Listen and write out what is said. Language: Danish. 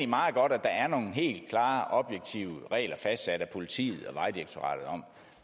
meget godt at der er nogle helt klare objektive regler fastsat af politiet og vejdirektoratet om